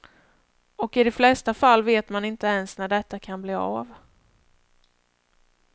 Och i de flesta fall vet man inte ens när detta kan bli av.